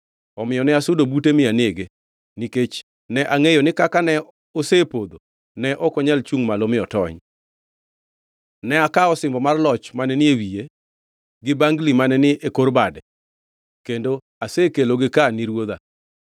“Omiyo ne asudo bute mi anege, nikech ne angʼeyo ni kaka ne osepodho ne ok onyal chungʼ malo mi otony. Ne akawo osimbo mar loch mane ni e wiye gi bangli mane ni e kor bade kendo asekelogi ka ni ruodha.”